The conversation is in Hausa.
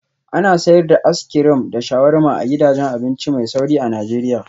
Ana sayar da as crim da sharuwarma a gidajen abinci mai sauri a Najeriya